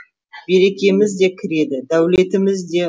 берекеміз де кіреді дәулетіміз де